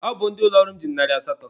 Ọ bụ ndị ụlọ ọrụ m ji mụ narị asatọ.